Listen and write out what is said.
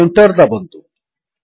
ଓ Enter ଦାବନ୍ତୁ